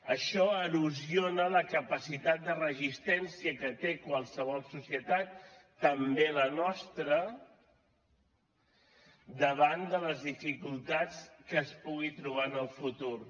això erosiona la capacitat de resistència que té qualsevol societat també la nostra davant de les dificultats que es pugui trobar en el futur